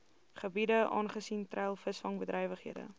gebiede aangesien treilvisvangbedrywighede